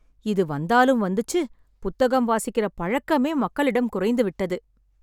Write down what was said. இது வந்தாலும் வந்துச்சு, புத்தகம் வாசிக்கிற பழக்கமே மக்களிடம் குறைந்து விட்டது